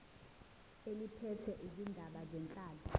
eliphethe izindaba zenhlalo